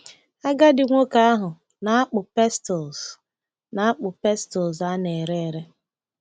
Agadi nwoke ahụ na-akpụ pestles na-akpụ pestles a na-ere ere.